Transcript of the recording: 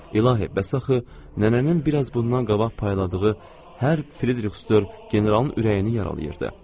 İlahi, bəs axı nənənin biraz bundan qabaq payladığı hər Fridrixstör generalın ürəyini yaralayırdı.